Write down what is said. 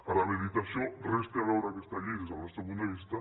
ara bé dit això res té a veure aquesta llei des del nostre punt de vista